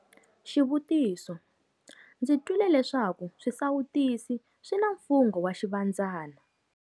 Xivutiso- Ndzi twile leswaku swisawutisi swi na mfungho wa Xivandzana.